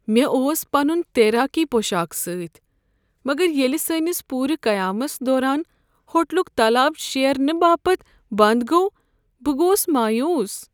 مےٚ اوس پنن تیراکی پوشاک سۭتۍ مگر ییٚلہ سٲنس پوٗرٕ قیامس دوران ہوٹلک تالاب شیرنہٕ باپت بند گوٚو، بہٕ گوس مایوس۔